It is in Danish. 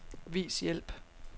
Vis hjælp.